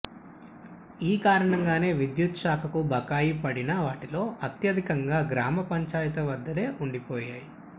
ఈ కారణంగానే విద్యుత్తు శాఖకు బకాయి పడిన వాటిలో అత్యధికంగా గ్రామ పంచాయతీల వద్దనే ఉండిపోయాయి